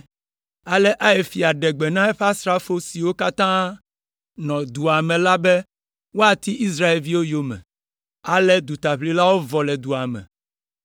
Ale Ai fia ɖe gbe na eƒe asrafo siwo katã nɔ dua me la be woati Israelviwo yome. Ale dutaʋlilawo vɔ le dua me;